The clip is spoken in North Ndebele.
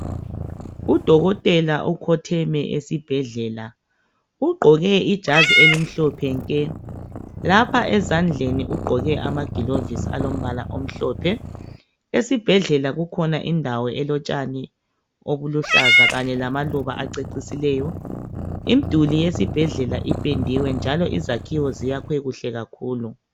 Udokotela ukhotheme esibhedlela ugqoke ijazi elimhlophe nke, lapha ezandleni ugqoke amagilovisi alombala omhlophe .Esibhedlela kukhona indawo elotshani obuluhlaza kanye lamaluba acecisileyo imduli yesibhedlela ipendiwe njalo izakhiwo ziyakhwe kuhle kakhulu.